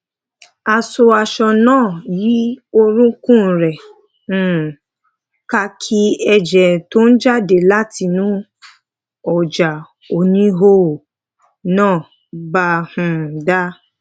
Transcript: a so aṣọ náà yí orúnkún rè um ká kí èjè tó ń jáde látinú òjá oníhòòhò náà bàa um dà